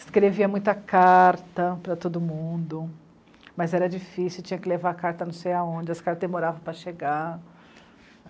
Escrevia muita carta para todo mundo, mas era difícil, tinha que levar a carta não sei aonde, as caras demoravam para chegar.